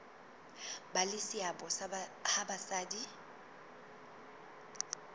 ba le seabo ha basadi